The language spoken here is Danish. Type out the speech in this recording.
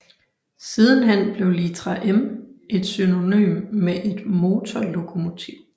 Sidenhen blev litra M et synonym med et motorlokomotiv